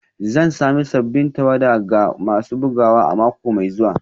Zan sami sabbin tawada ga masu bugawa a mako mai zuwa